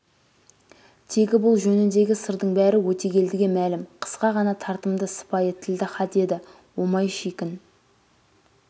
тегі бұл жөніндегі сырдың бәрі өтегелдіге мәлім қысқа ғана тартымды сыпайы тілді хат еді омай шикін